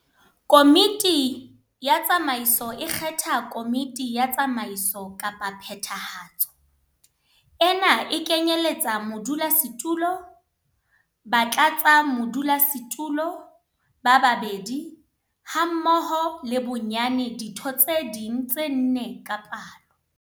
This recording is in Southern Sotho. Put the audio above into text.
Komiti ya Tsamaiso e kgetha Komiti ya Tsamaiso kapa Phethahatso. Ena e kenyeletsa modulasetulo, batlatsamodulasetulo ba babedi hammoho le bonyane ditho tse ding tse nne ka palo.